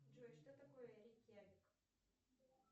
джой что такое рейкьявик